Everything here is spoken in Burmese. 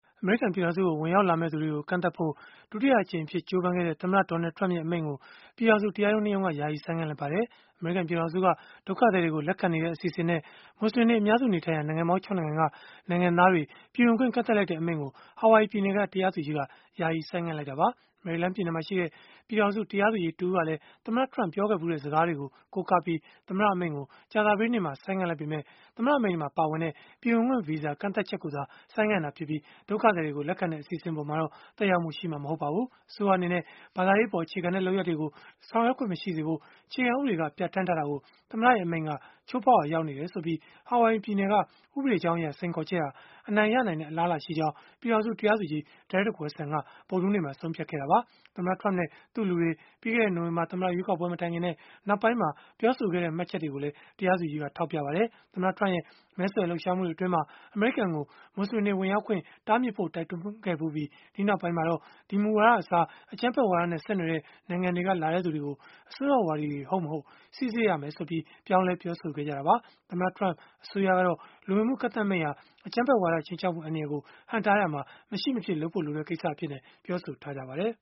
အမေရိကန် ပြည်ထောင်စုကို ဝင်ရောက်လာမယ့်သူတွေကို ကန့်သတ်ဖို့ ဒုတိယအကြိမ်အဖြစ် ကြိုးပမ်းခဲ့တဲ့ သမ္မတ Donald Trump ရဲ့ အမိန့်ကို ပြည်ထောင်စု တရားရုံး ၂ ရုံးက ယာယီဆိုင်းငံ့လိုက်ပါတယ်။ အမေရိကန် ပြည်ထောင်စုက ဒုက္ခသည်တွေကို လက်ခံနေတဲ့ အစီအစဉ်နဲ့ မွတ်စလင်တွေ အများစုနေထိုင်ရာ နိုင်ငံပေါင်း ၆ နိုင်ငံက နိုင်ငံသားတွေ ပြည်ဝင်ခွင့်ကန့်သတ်လိုက်တဲ့ အမိန့်ကို ဟာဝိုင်ယီ ပြည်နယ်က တရားသူကြီးက ယာယီဆိုင်းငံ့လိုက်တာပါ။ မေရီလန်းပြည်နယ်မှာရှိတဲ့ ပြည်ထောင်စု တရားသူကြီးတဦးကလည်း၊ သမ္မတ Trump ပြောခဲ့ဖူးတဲ့ စကားတွေကို ကိုးကားပြီး သမ္မတအမိန့်ကို ကြာသပတေးနေ့မှာပဲ ဆိုင်းငံ့လိုက်ပေမယ့်၊ သမ္မတအမိန့်မှာ ပါဝင်တဲ့ ပြည်ဝင်ခွင့်ဗီဇာ ကန့်သတ်ချက်ကိုသာ ဆိုင်းငံ့ခဲ့တာဖြစ်ပြီး၊ ဒုက္ခသည်တွေ လက်ခံတဲ့ အစီအစဉ်အပေါ်မှာတော့ သက်ရောက်မှု ရှိမှာ မဟုတ်ပါဘူး။ အစိုးရအနေနဲ့ ဘာသာရေးအပေါ် အခြေခံတဲ့ လုပ်ရပ်တွေကို ဆောင်ရွက်ခွင့် မရှိစေဖို့ အခြေခံဥပဒေက ပြဌာန်းထားတာကို သမ္မတရဲ့ အမိန့်က ချိုးဖောက်ရာရောက်နေတယ်ဆိုပြီး ဟာဝိုင်ယီပြည်နယ်က ဥပဒေကြောင်းအရ စိန်ခေါ်ချက်ဟာ အနိုင်ရနိုင်တဲ့ အလားအလာရှိကြောင်း ပြည်ထောင်စုတရားသူကြီး Derrick Watson က ဗုဒ္ဓဟူးနေ့မှာ ဆုံးဖြတ်ခဲ့တာပါ။ သမ္မတ Trump နဲ့ သူ့လူတွေ ပြီးခဲ့တဲ့နှစ် နိုဝင်ဘာသမ္မတရွေးကောက်ပွဲ မတိုင်ခင်နဲ့ နောက်ပိုင်းမှာ ပြောဆိုခဲ့တဲ့ မှတ်ချက်တွေကိုလည်း တရားသူကြီးက ထောက်ပြခဲ့ပါတယ်။ သမ္မတ Trump ရဲ့ မဲဆွယ်လှုပ်ရှားမှုတွေ အတွင်းမှာ အမေရိကန်ကို မွတ်စလင်တွေ ဝင်ရောက်ခွင့် တားမြစ်ဖို့ တိုက်တွန်းခဲ့ဖူးပြီး၊ နောက်ပိုင်းမှာတော့ ဒီမူဝါဒအစား အကြမ်းဖက်ဝါဒနဲ့ ဆက်နွယ်တဲ့ နိုင်ငံတွေက လာတဲ့သူတွေကို အစွန်းရောက်ဝါဒီတွေ ဟုတ်မဟုတ် စိစစ်ရမယ်ဆိုပြီး ပြောင်းလဲ ပြောဆိုခဲ့ကြတာပါ။ သမ္မတ Trump အစိုးရကတော့ လူဝင်မှုကန့်သတ်မိန့်ဟာ အကြမ်းဖက်ဝါဒ ခြိမ်းခြောက်မှု အန္တရာယ်ကို ဟန့်တားဖို့ မရှိမဖြစ် လုပ်ဖို့လိုတဲ့ကိစ္စတခုအဖြစ် ပြောဆိုထားပါတယ်